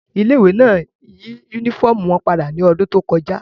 Ile-iwe náa yi unifọmú wọn pada ni ọdun to kọja